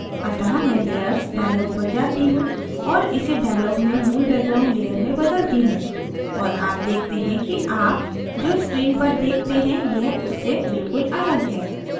अतः मैं layers dialog पर जाती हूँ और इसे dialog में मूल background layer में बदलती हूँ और आप देखते हैं कि आप जो screen पर देखते हैं यह उससे बिल्कुल अलग है